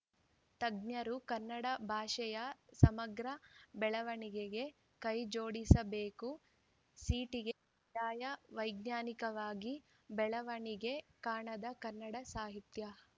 ತಜ್ಞರು ಕನ್ನಡ ಭಾಷೆಯ ಸಮಗ್ರ ಬೆಳವಣಿಗೆಗೆ ಕೈಜೋಡಿಸಬೇಕು ಸಿಟಿಗೆ ಕಡ್ಡಾಯ ವೈಜ್ಞಾನಿಕವಾಗಿ ಬೆಳವಣಿಗೆ ಕಾಣದ ಕನ್ನಡ ಸಾಹಿತ್ಯ